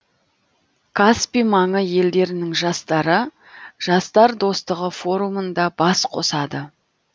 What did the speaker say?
каспий маңы елдерінің жастары жастар достығы форумында бас қосады